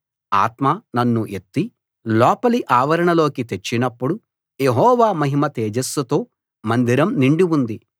ఆత్మ నన్ను ఎత్తి లోపలి ఆవరణలోకి తెచ్చినప్పుడు యెహోవా మహిమ తేజస్సుతో మందిరం నిండి ఉంది